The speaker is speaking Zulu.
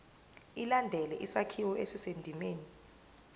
ilandele isakhiwo esisendimeni